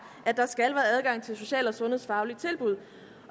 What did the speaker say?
at der skal være adgang til social og sundhedsfaglige tilbud